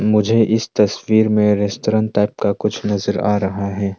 मुझे इस तस्वीर में रेस्टोरेंट टाइप का कुछ नज़र आ रहा है।